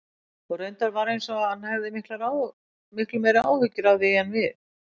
Og reyndar var eins og hann hefði miklu meiri áhyggjur af því en við.